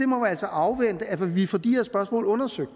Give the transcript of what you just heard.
må altså afvente at vi får de her spørgsmål undersøgt